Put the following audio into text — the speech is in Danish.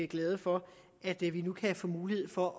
glade for at vi nu kan få mulighed for at